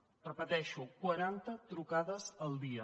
ho repeteixo quaranta trucades al dia